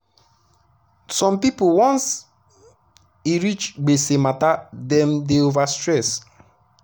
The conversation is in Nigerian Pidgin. some people once e reach gbese matterdem dey over stress